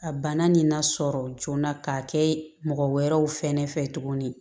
A bana nin na sɔrɔ joona k'a kɛ mɔgɔ wɛrɛw fɛnɛ fɛ tuguni